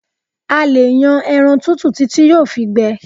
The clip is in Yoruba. A lè yan ẹran tútù títí yóò fi gbẹ